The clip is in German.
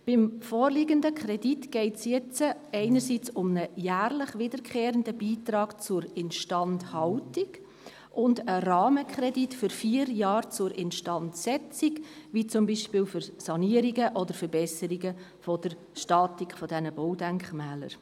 Beim vorliegenden Kredit geht es jetzt um einen jährlich wiederkehrenden Beitrag zur Instandhaltung sowie um einen Rahmenkredit für vier Jahre zur Instandsetzung, wie zum Beispiel für Sanierungen oder Verbesserungen der Statik dieser Baudenkmäler.